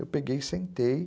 Eu peguei e sentei.